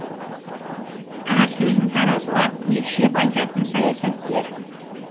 әр сөзін таразылап екшеп айтатын саясаткер